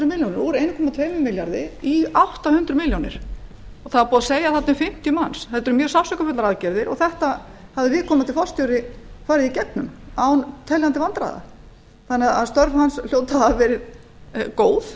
milljónir úr einum komma tveimur milljörðum í átta hundruð milljónir og búið var að segja upp fimmtíu manns þetta voru mjög sársaukafullar aðgerðir og fyrrverandi forstjóri fór í gegnum þær án teljandi vandræða ég álykta því að störf hans hafi verið góð